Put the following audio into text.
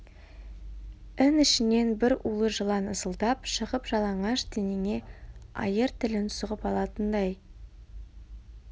ін ішінен бір улы жылан ысылдап шығып жалаңаш денеңе айыр тілін сұғып алатындай